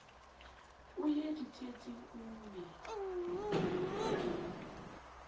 o ie ditsietsing o ie